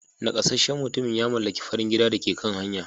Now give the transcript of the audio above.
Nakasasshen mutumin ya mallaki farin gidan da ke kan hanya.